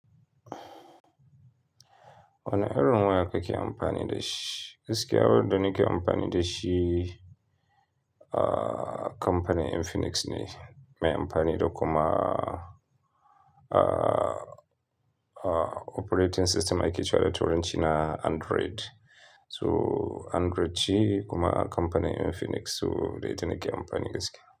Wane irin waya kake amfani da shi. Gaskiya, wayarda nake amfani da shi, ah, kamfanin Infinix ne. Me amfani da kuma, ah, ah, operating system ake kira da turanci na Android. So Android ce kuma kamfanin Infinix so da ita nake amfani gaskiya.